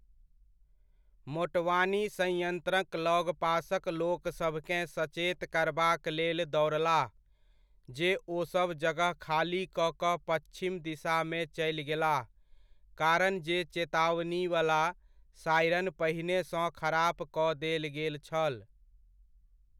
मोटवानी संयन्त्रक लगपासक लोकसभकेँ सचेत करबाक लेल दौड़लाह, जे ओसभ जगह खाली कऽ कऽ पच्छिम दिशामे चलि गेलाह, कारण जे चेतावनीवला सायरन पहिनेसँ खराप कऽ देल गेल छल।